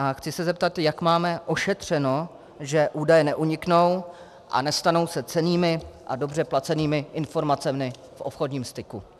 A chci se zeptat, jak máme ošetřeno, že údaje neuniknou a nestanou se cennými a dobře placenými informacemi v obchodním styku.